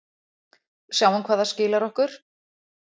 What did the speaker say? Sjáum hvað það skilar okkur.